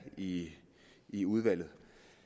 i i udvalget